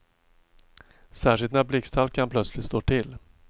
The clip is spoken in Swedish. Särskilt när blixthalkan plötsligt slår till.